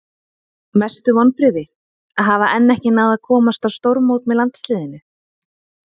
Mestu vonbrigði?: Að hafa enn ekki náð að komast á stórmót með landsliðinu.